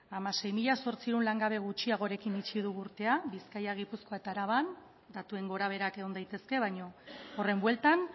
hamasei mila zortziehun langabe gutxiagorekin itxi dugu urtea bizkaia gipuzkoa eta araban datuen gora beherak egon daitezke baina horren bueltan